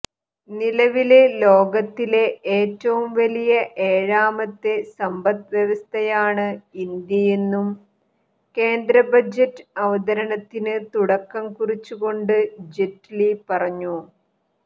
നിലവില് ലോകത്തിലെ ഏറ്റവും വലിയ ഏഴാമത്തെ സമ്പദ് വ്യവസ്ഥയാണ് ഇന്ത്യയെന്നും കേന്ദ്ര ബജറ്റ് അവതരണത്തിന് തുടക്കം കുറിച്ചുകൊണ്ട് ജയ്റ്റ്ലി പറഞ്ഞു